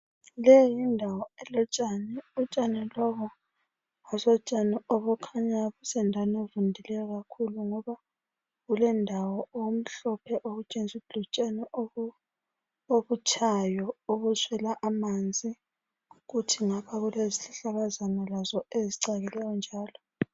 Le yindawo elotshani, utshani lobu asotshani obukhanya busendaweni evundileyo kakhulu. Ngoba kulendawo obumhlophe okutshengisa ukuthi butshani obutshayo obuswela amanzi, kuthi ngapha kulezihlahlakazana lazo ezicakileyo njalo.